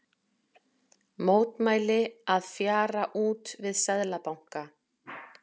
Mótmæli að fjara út við Seðlabanka